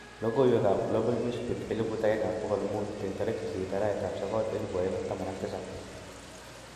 Logoiwek up Glabal newsbeat 1500 08/09/2017